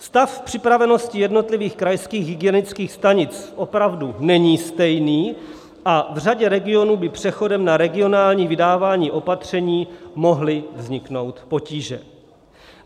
Stav připravenosti jednotlivých krajských hygienických stanic opravdu není stejný a v řadě regionů by přechodem na regionální vydávání opatření mohly vzniknout potíže.